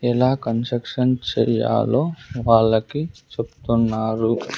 ఎలా కన్స్ట్రక్షన్ చేయాలో వాళ్ళకి చెప్తున్నారు .